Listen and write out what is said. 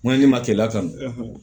Ŋo ne ma telila kan